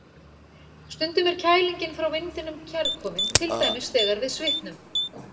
Stundum er kælingin frá vindinum kærkomin, til dæmis þegar við svitnum.